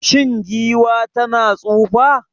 Shin giwa tana tsufa?